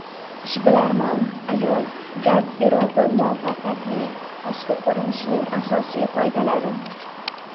Ishbilarmon ayollar garderobi: muvaffaqiyatli tashqi ko‘rinishning asosiy qoidalari .